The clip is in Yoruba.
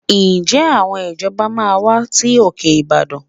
Ǹjẹ́ àwọn ìjọba máa wá sí òkè Ìbàdàn?